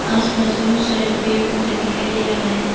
आस पास बहुत सारे पेड़ पौधे दिखाई दे रहा है।